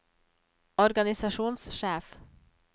organisasjonssjef